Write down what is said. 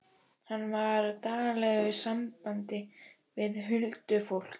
Hann var í daglegu sambandi við huldufólk.